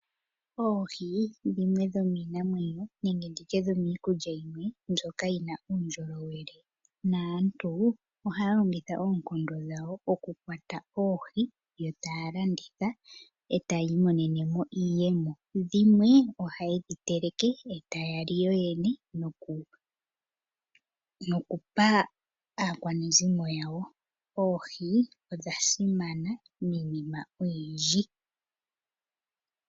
Oohi dhimwe dhomiinamweyo nenge ndi tye dhomiikulya yimwe mbyoka yi na uundjolowele, naantu ohaya longitha oonkondo dhawo okukwata oohi, yo taya landitha eta ya imonene mo iiyemo. Dhimwe ohaye dhi teleke e taya li yo yene noku pa aakwanezimo yawo. Oohi odha simana miinima oyindji.